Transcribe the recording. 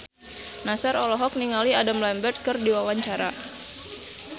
Nassar olohok ningali Adam Lambert keur diwawancara